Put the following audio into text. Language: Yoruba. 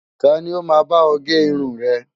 Ta ni ó máa bá ọ gé irun rẹ?